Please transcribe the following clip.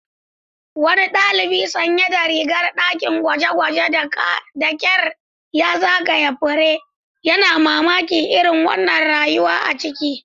Wani dalibi sanye da rigar dakin gwaje-gwaje da kyar ya zagaya fure, yana mamakin irin rawan rayuwa a ciki.